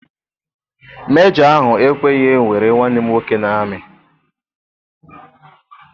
Mejọ ahụ ekweghị ewere nwanne m nwoke n'ami.